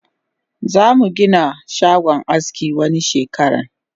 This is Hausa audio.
Zamu Gina shagon aski wani shekaran